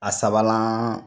A sabanan